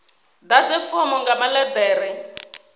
ḓadze fomo nga maḽe ḓere